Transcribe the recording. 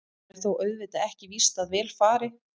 Það er þó auðvitað ekki víst að vel fari.